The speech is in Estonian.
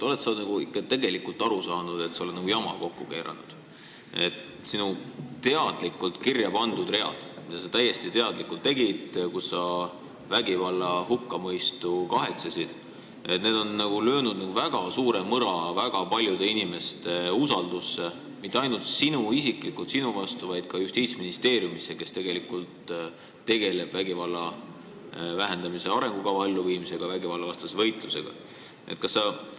Kas sa oled ikka tegelikult aru saanud, et sa oled jama kokku keeranud, et sinu teadlikult kirja pandud read – sa tegid seda täiesti teadlikult –, millega sa vägivalla hukkamõistu kahetsesid, on löönud väga suure mõra väga paljude inimeste usaldusse mitte ainult isiklikult sinu vastu, vaid ka Justiitsministeeriumi vastu, kes tegeleb vägivalla vähendamise arengukava elluviimisega ja vägivallavastase võitlusega?